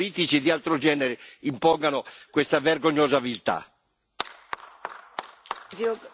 Ma qui altri interessi evidentemente geopolitici e di altro genere impongono questa vergognosa viltà.